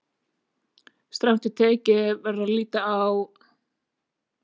Strangt til tekið verður að líta á??